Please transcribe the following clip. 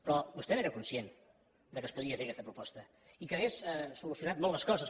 però vostè n’era conscient que es podia fer aquesta proposta i que hauria solucionat molt les coses